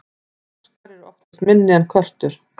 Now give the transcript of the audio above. froskar eru oftast minni en körtur